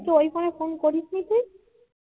ওই ফোনে ফোন করিস নি তুই